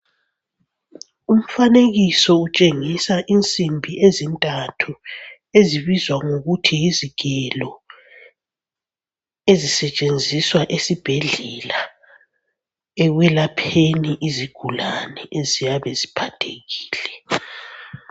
Umfanekiso utshengisa insimbi ezintathu ezibizwa ngokuthi yizigelo, ezisetshenziswa esibhedlela ekwelapheni izigulane eziyabe ziphathekile.